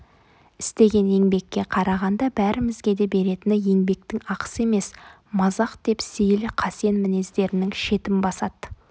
істеген еңбекке қарағанда бәрімізге де беретіні еңбектің ақысы емес мазақ деп сейіл қасен мінездерінің шетін бастады